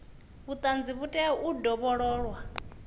vhuṱanzi vhu tea u dovhololwa